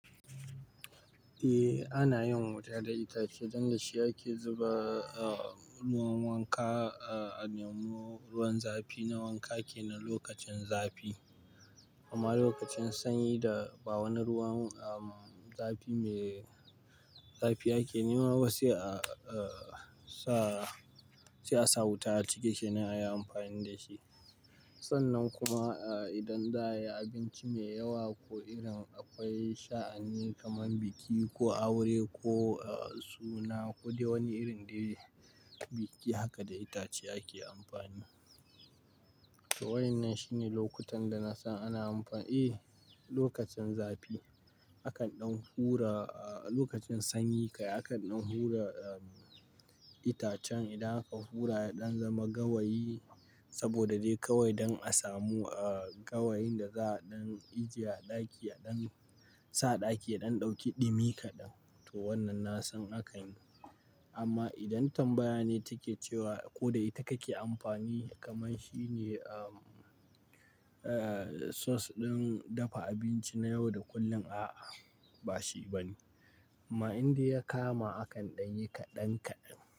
Eh ana yin wuta da itace don da shi ake zuba a ruwan wanka a nemo ruwan zafi na wanka ke na lokacin zafi. Amma lokacin sanyi da ba wani ruwan zafi mai zafi ake nema ba sai a sa sai a sa wuta a tiketi na ya amfani da shi. Sannan kuma idan za a yi abinci mai yawa ko irin akwai sha'ani kamar biki ko aure ko suna ko wani irin dai biki haka da itace ake amfani. To wannan shine lokutan da na san ana amfani, eh lokacin zafi. Hakan ɗin hura lokacin sanyi ka hakan ɗin hura itacen idan aka hura ya ɗan zama gawayi saboda dai kawai don a samu gawayin da za a ɗan ajiye a ɗaki a ɗan sa ɗaki a ɗan ɗauki ɗumi kaɗan. To wannan na san akan yi amma idan tambaya ne take cewa ko da ita kake amfani kamar shine sauce ɗin dafa abinci na yau da kullum a'a ba shi bane. Amma indai ya kama akan ɗan yi kaɗan kaɗan.